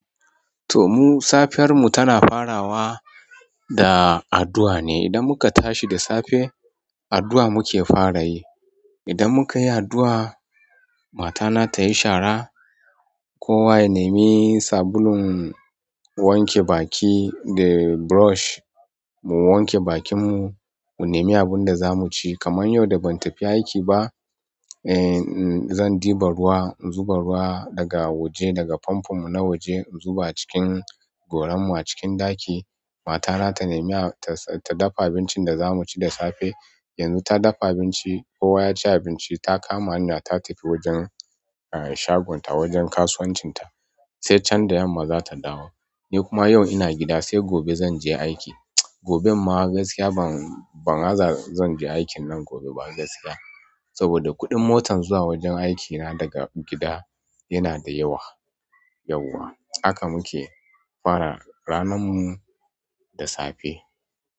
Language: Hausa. To mu safiyar mu tana farawa da addu'a ne. Idan muka tashi da safe, addu'a muke fara yi. Idan muka yi addu'a, mata na ta yi shara, kowa ya nemi sabulun wanke baki da brush, mu wanke bakin mu, ku nemi abin da za mu ci. Kaman yau da ban tafi aiki ba, eh zan ɗiba ruwa, in zuba ruwa daga waje daga famfo na waje in zuba cikin goran mu a cikin ɗaki. Mata na ta nemi ta dafa abincin da za mu ci da safe. Yanzu ta dafa abinci, kowa ya ci abinci, ta kama hanya ta tafi wajen shagonta wajen kasuwancin ta, sai can da yamma za ta dawo. Ni kuma yau ina gida sai gobe zan je aiki. Goben ma gaskiya ban, ban aza zan je aikin nan gobe ba gaskiya, saboda kuɗin motan zuwa wajen aiki na daga gida yana da yawa, yauwa. Haka muke fara ranar mu da safe.